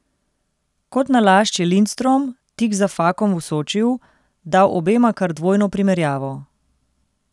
Kot nalašč je Lindstrom, tik za Fakom v Sočiju, dal obema kar dvojno primerjavo.